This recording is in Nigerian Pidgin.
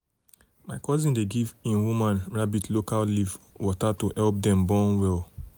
um my cousin dey give him um woman rabbit local leaf water to help um dem born well.